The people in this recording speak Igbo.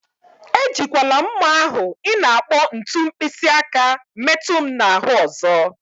Ejikwala mma ahụ ị na-akpọ ntu mkpịsị aka metu m na ahụ ọzọ.